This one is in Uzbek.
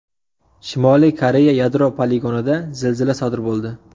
Shimoliy Koreya yadro poligonida zilzila sodir bo‘ldi.